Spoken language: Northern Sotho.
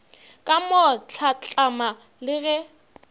ka mo hlatlama le ge